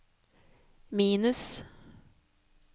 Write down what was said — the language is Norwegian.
minus